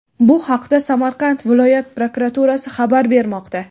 Bu haqda Samarqand viloyat prokuraturasi xabar bermoqda.